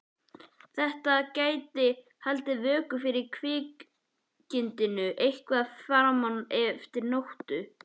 Þetta gæti haldið vöku fyrir kvikindinu eitthvað fram eftir nóttu.